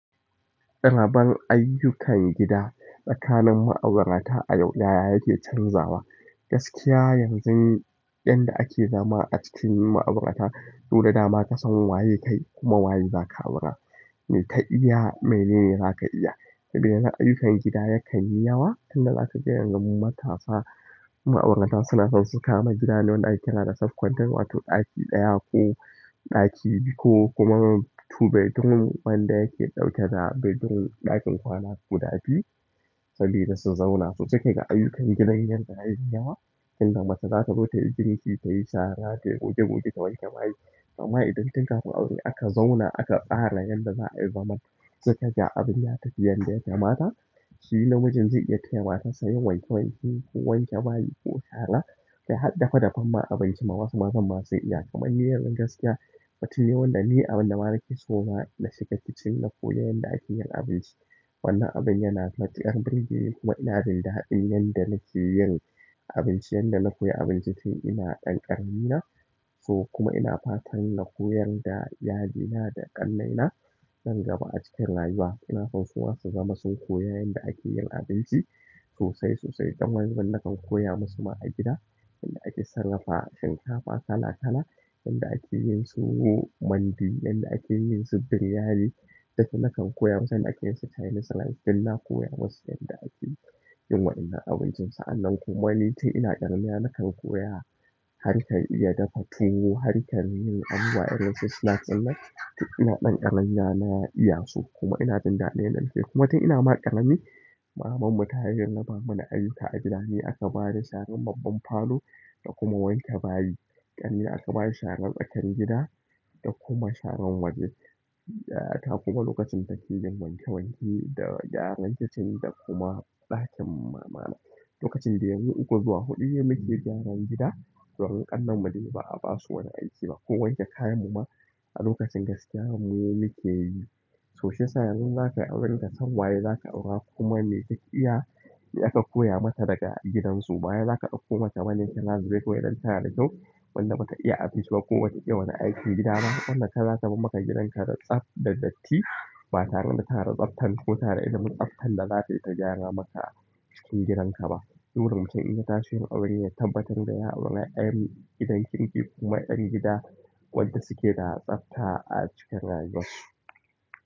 Raban ayyukan gida tsakanin ma'aurata a yau, ya ya yake canzawa? Gaskiya yanzu inda ake zama a cikin ma'aurata, dole dama ka san waye kai kuma waye za ka aura. Me ka iya, mene ne za ka iya. Saboda yanzu ayyukan gida yakan yi yawa, tunda za kaga yanzu matasa ma'aurata suna son su kama gidane wanda ake kira da safe content, wato ɗaki ɗaya ko ɗaki biyu ko kuma two bedroom wanda yake ɗauke da bedroom, ɗakin kwana guda biyu sabida su zauna, so sai kaga ayyukan gidan yanda yayi yawa. Inda mace zata zo ta yi girki, ta yi shara, tayi goge-goge, ta wanke bayi. Amma idan tun kafin aure aka zauna aka tsara yanda za'a yi zaman, sai kaga abin ya tafi yanda ya kamata, shi namijin zai iya taya matarsa yin wanke-wanke ko wanke bayi ko shara. Kai har dafe dafen ma abinci ma wasu mazan ma sun iya. Kuma ni yanzun gaskiya, mutum ne wanda ni abinda ma nakeso na shiga kitchen na koyi yanda ake yin abinci. Wannan abin yana matuƙar burge ni kuma ina jin daɗin yanda nake yin abinci, yanda na koya abinci tun ina ɗan ƙarami na. So kuma ina fatan na koyar da yayyena da ƙannaina nan gaba a cikin rayuwa. Ina son suma su zama sun koya yanda ake yin abinci sosai sosai. Don wani bin nakan koya musu ma a gida yanda ake sarrafa shinkafa kala-kala, yanda ake yin su, mandi, yanda ake yin su biryani. Duk nakan koya musu, yanda ake yin su chinese rice, duk na koya musu, yanda ake yin wa'inan abinci. Sa'annan kuma ni tun ina ƙaramina nakan koya, harkar iya dafa tuwo, harkan yin abubuwa irinsu snacks ɗin nan. Tun ina ɗan ƙaramina na iya su kuma ina jin daɗin yanda nakeyi kuma tun ina ma ƙarami, mamanmu ta hanyar raba mana ayyuka a gida, ni aka bani sharan babban falo da kuma wanke bayi. Ƙarami aka bashi sharan tsakar gida da kuma sharan waje. Yayata kuma lokacin take yin wanke wanke da gyaran kitchen da kuma ɗakin mamana. Lokacin dai mu uku zuwa huɗu ne muke gyaran gida, domin ƙananmu dai ba'a basu wani aiki ba, ko wanke kayan mu ma a lokacin gaskiya mu muke yi. To shiyasa yanzun in zakayi aure kasan waye za ka aura kuma me take iya, me aka koya mata daga gidansu. Ba wai zaka ɗauko mace bane tana zube kawai don tana da kyau wanda bata iya abinci ba, kuma bata iya wani aikin gida ba wanda zata bar maka gidanka da tsaf da datti batare da tana da tsaftan da ilimim tsaftan da zata gyara maka cikin gidanka ba burin mutum in ya tashi yin aure ya tabbatar da ya auri yar' gidan kirki kuma yar gida wadda suke da tsabta a cikin rayuwar su.